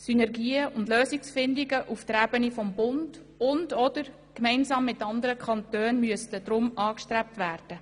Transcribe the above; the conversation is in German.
Synergien und Lösungsfindungen auf der Ebene Bund und/oder gemeinsam mit anderen Kantonen müssten deshalb angestrebt werden.